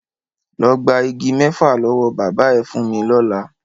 Lọ gba igi mẹ́fà lọ́wọ́ bàbá ẹ fún mi lọ́la!